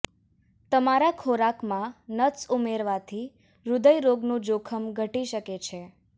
તમારા ખોરાકમાં નટ્સ ઉમેરવાથી હૃદય રોગનું જોખમ ઘટી શકે છે